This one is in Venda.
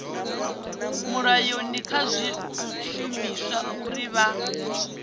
mulayoni kha zwishumiswa uri vha